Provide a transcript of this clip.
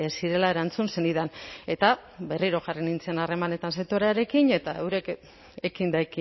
zirela erantzun zenidan eta berriro jarri nintzen harremanetan sektorearekin eta eurek